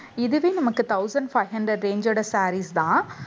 இதுவே நமக்கு thousand five hundred range ஓட sarees தான்